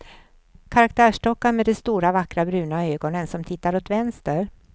Karaktärsdockan med de stora vackra bruna ögonen, som tittar åt vänster.